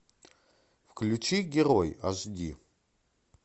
включи герой аш ди